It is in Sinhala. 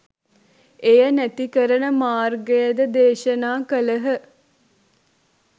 එය නැති කරන මාර්ගයද දේශනා කළහ.